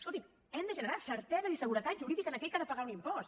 escolti’m hem de generar certesa i seguretat jurídica a aquell que ha de pagar un impost